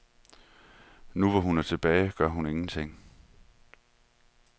Nu, hvor hun er tilbage, gør hun ingenting.